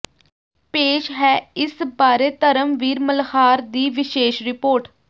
ਪੇਸ਼ ਹੈ ਇਸ ਬਾਰੇ ਧਰਮਵੀਰ ਮਲਹਾਰ ਦੀ ਵਿਸ਼ੇਸ਼ ਰਿਪੋਰਟ